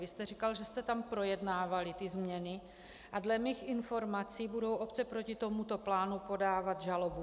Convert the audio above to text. Vy jste říkal, že jste tam projednávali ty změny, a dle mých informací budou obce proti tomuto plánu podávat žalobu.